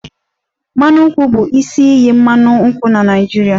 Mmanụ nkwụ bụ isi iyi mmanụ nkwụ na Naịjirịa